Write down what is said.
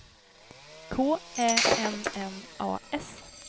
K Ä N N A S